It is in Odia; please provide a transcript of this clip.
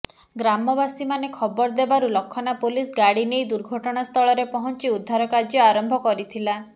ଗ୍ରାମବାସୀମାନେ ଖବର ଦେବାରୁ ଲଖନା ପୋଲିସ ଗାଡ଼ି ନେଇ ଦୁର୍ଘଟନା ସ୍ଥଳରେ ପହଞ୍ଚି ଉଦ୍ଧାର କାର୍ଯ୍ୟ ଆରମ୍ଭ କରିଥିଲା